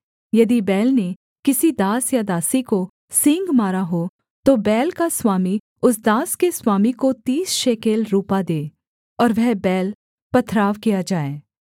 यदि बैल ने किसी दास या दासी को सींग मारा हो तो बैल का स्वामी उस दास के स्वामी को तीस शेकेल रूपा दे और वह बैल पथरवाह किया जाए